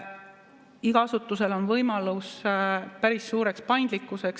Igal asutusel on võimalus päris suureks paindlikkuseks.